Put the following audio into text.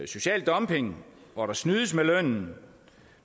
social dumping hvor der snydes med lønnen